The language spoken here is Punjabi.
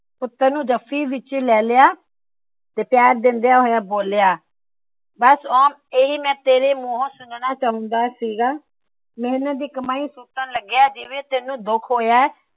ਪੁੱਤਰ ਨੂੰ ਜੱਫੀ ਵਿੱਚ ਲੈ ਲਿਆ। ਤੇ ਪਿਆਰ ਦਿੰਦਿਆਂ ਹੋਇਆ ਬੋਲਿਆਂ। ਬੱਸ ਇਹੀ ਮੈ ਤੇਰੇ ਮੂੰਹੋ ਸੁਣਨਾ ਚਾਹੁੰਦਾ ਸੀ। ਮੇਹਨਤ ਦੀ ਕਮਾਈ ਸੁੱਟਣ ਲੱਗਿਆ ਜਿਂਵੇ ਤੈਨੂੰ ਦੁੱਖ ਹੋਇਆ ਹੈ ।